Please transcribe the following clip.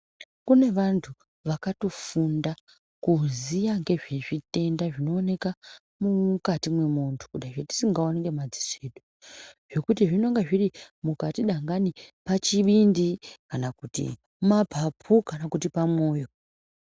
Kune vantu vakatofunda kuziva nezvezvitenda mumukati memuntu kuti zvatisingaoni nemadziso edu ngekuti zvinenge zviri mukati kana kuti mapupa kana kuti pamoyo.